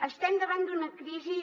estem davant d’una crisi